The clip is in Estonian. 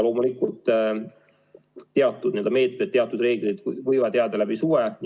Teatud meetmed, teatud reeglid võivad jääda läbi suve.